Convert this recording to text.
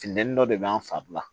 Funteni dɔ de b'an fari la